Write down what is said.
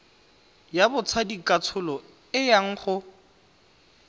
ya botsadikatsholo e yang go